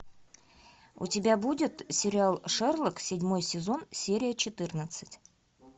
у тебя будет сериал шерлок седьмой сезон серия четырнадцать